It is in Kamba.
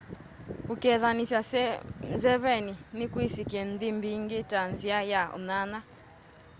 kukethanisya nzeveni ni kwisikie nthi mbingi ta nzia ya unyanya